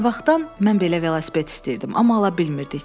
Nə vaxtdan mən belə velosiped istəyirdim, amma ala bilmirdik.